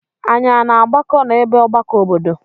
Anyị a na-agbakọ n'ebe ọgbakọ obodo?